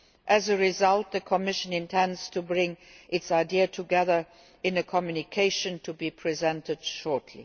As a result the Commission intends to bring its ideas together in a communication to be presented shortly.